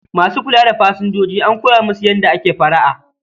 Ma su kula da pasanjoji an koya musu yada ake fara'a